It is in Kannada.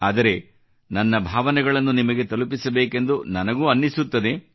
ಆದರೆ ನನ್ನ ಭಾವನೆಗಳನ್ನು ನಿಮಗೆ ತಲುಪಿಸಬೇಕೆಂದು ನನಗೂ ಅನ್ನಿಸುತ್ತದೆ